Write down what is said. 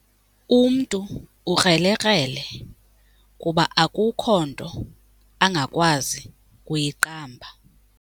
Umntu ukrelekrele kuba akukho nto angakwazi kuyiqamba.